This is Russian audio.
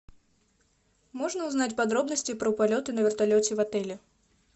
можно узнать подробности про полеты на вертолете в отеле